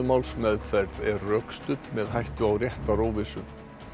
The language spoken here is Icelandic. málsmeðferð er rökstudd með hættu á réttaróvissu